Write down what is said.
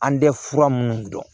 An tɛ fura minnu dɔn